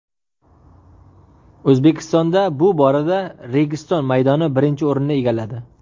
O‘zbekistonda bu borada Registon maydoni birinchi o‘rinni egalladi.